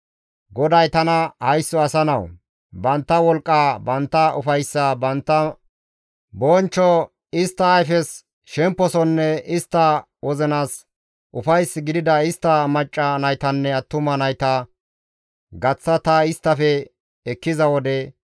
GODAY tana, «Haysso asa nawu! Bantta wolqqa, bantta ufayssa, bantta bonchcho, istta ayfes shemposonne istta wozinas ufays gidida istta macca naytanne attuma nayta gaththa ta isttafe ekkiza wode,